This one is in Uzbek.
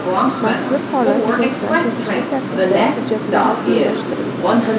Mazkur holat yuzasidan tegishli tartibda hujjatlar rasmiylashtirilgan.